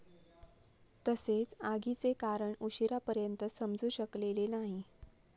तसेच आगीचे कारण उशीरा पर्यंत समजु शकलेले नाही.